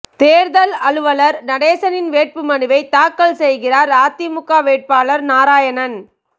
தேர்தல் அலுவலர் நடேசனிடம் வேட்புமனுவை தாக்கல் செய்கிறார் அதிமுக வேட்பாளர் நாராயணன்